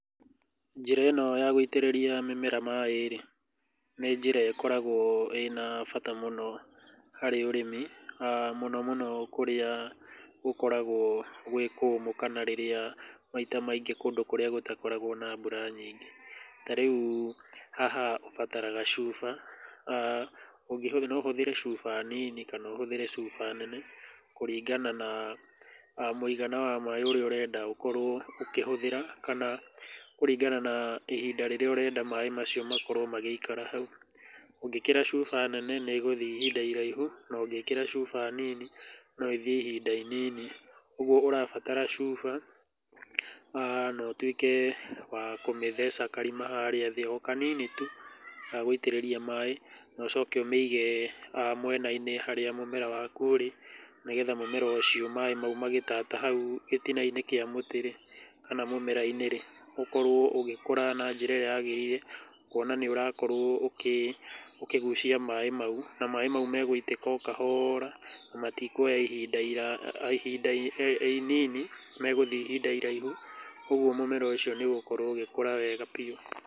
Njĩra ĩno ya gũitĩrĩria mĩmera maĩ rĩ, nĩ njĩra ĩkoragũo ĩĩ ya bata mũno harĩ ũrĩmi, mũno mũno kũrĩa gũkoragwo gwĩ kũũmũ kana rĩrĩa maita maingĩ kũndũ kũrĩa gũtakoragũo na mbura nyingĩ. Ta rĩu haha ũbataraga cuba, no ũhũthĩre cuba nini kana ũhũthĩre cuba nene kũringana na mũigana wa maĩ ũrĩa ũrenda ũkorwo ũkĩhũthĩra kana kũringana na ihinda rĩrĩa ũrenda maĩ macio makorwo magĩikara hau. Ũngĩkĩra cuba nene nĩ ĩgũthiĩ ihinda iraihu no ũngĩkĩra cuba nini no ĩthiĩ ihinda inini. Ũguo ũrabatara cuba haha na ũtuĩke wa kũmĩtheca karima harĩa thĩ, o kanini tu ga gũitĩrĩria maĩ na ũcoke ũmĩige mwena-inĩ harĩa mũmera waku urĩ nĩgetha mũmera ũcio maĩ mau magĩtata hau gĩtinainĩ kĩa mũtĩ rĩ, kana mũmera-inĩ rĩ, ũkorwo ũgĩkũra na njĩra ĩrĩa yagĩrĩire kuona nĩ ũrakorũo ũkĩgucia maĩ mau. na maĩ mau megũitĩka o kahora na matikuoya ihinda inini megũthiĩ ihinda iraihu koguo mũmera ũcio ũgũthiĩ ũgĩkũraga wega biũ.